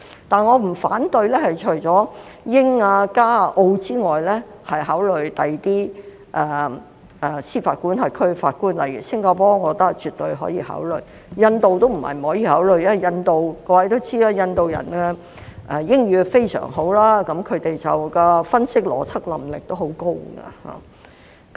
但是，除了英、加、澳外，我不反對考慮其他司法管轄區的法官，例如新加坡，我覺得絕對可以考慮；印度並非不可以考慮，各位也知道，印度人的英語非常好，他們的分析及邏輯能力亦很高。